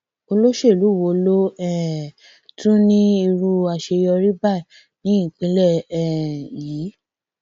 olóṣèlú wo ló um tún ní irú àṣeyọrí báyìí ní ìpínlẹ um yìí